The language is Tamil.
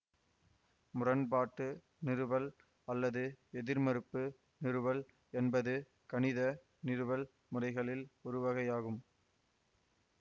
முரண்பாட்டு நிறுவல் அல்லது எதிர்மறுப்பு நிறுவல் என்பது கணித நிறுவல் முறைகளில் ஒருவகையாகும்